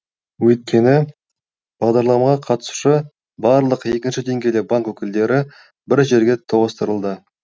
өйткені бағдарламаға қатысушы барлық екінші деңгейлі банк өкілдері бір жерге тоғыстырылды